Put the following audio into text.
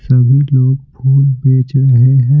सभी लोग फूल बेच रहे हैं।